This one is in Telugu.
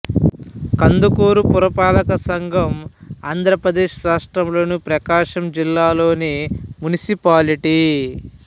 కందుకూరు పురపాలక సంఘం ఆంధ్రప్రదేశ్ రాష్ట్రంలోని ప్రకాశం జిల్లాలోని మునిసిపాలిటీ